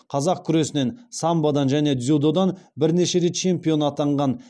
қазақ күресінен самбодан және дзюдодан бірнеше рет чемпион атанған